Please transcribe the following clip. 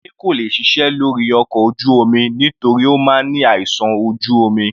Wole kò lè ṣiṣẹ́ lórí ọkọ̀ ojú omi nítorí Ó máa ní àìsàn ojú omi.